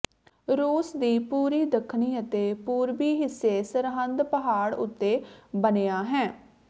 ਰੂਸ ਦੀ ਪੂਰੀ ਦੱਖਣੀ ਅਤੇ ਪੂਰਬੀ ਹਿੱਸੇ ਸਰਹੱਦ ਪਹਾੜ ਉੱਤੇ ਬਣਿਆ ਹੈ